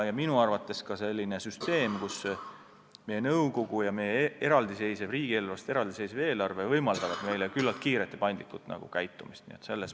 Ka arvan, et meie süsteem on hea: meie nõukogu ja meie riigieelarvest eraldi seisev eelarve võimaldavad meil küllalt kiirelt ja paindlikult tegutseda.